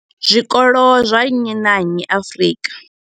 Zwikolo zwa nnyi na nnyi Afrika.